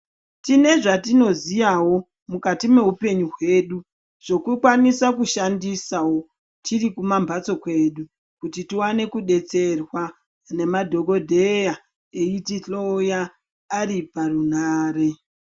Tine zvatinoziyawo mukati mehupenyu hwedu zvokukwanisa kushandisawo tirikumamhatso kwedu kuti tiwane kubetserwa nemadhokodheya eitihloya ariparunhare .